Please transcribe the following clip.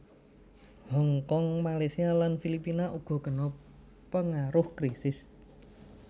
Hong Kong Malaysia lan Filipina uga kena pengaruh krisis